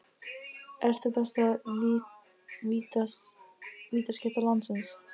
Ert þú besta vítaskytta landsins?